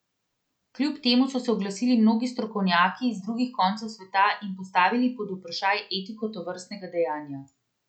Kljub temu so se oglasili mnogi strokovnjaki z drugih koncev sveta in postavili pod vprašaj etiko tovrstnega dejanja.